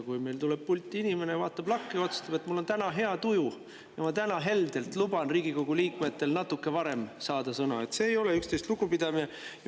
Kui meil tuleb pulti inimene, vaatab lakke ja otsustab, et mul on täna hea tuju, ma luban täna heldelt Riigikogu liikmetel natuke varem sõna saada, siis see ei ole üksteisest lugupidamine.